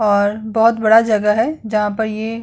और बहोत बड़ा जगह है जहाँ पर ये --